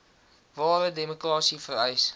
ware demokrasie vereis